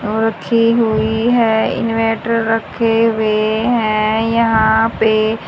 रखी हुई है इनववेटर रखे हुए हैं यहां पे।